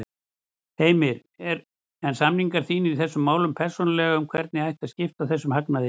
Heimir: En samningar þínir í þessum málum persónulega um hvernig ætti að skipta þessum hagnaði?